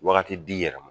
Wagati d'i yɛrɛ ma